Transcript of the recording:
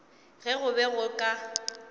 ge go be go ka